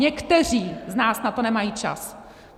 Někteří z nás na to nemají čas.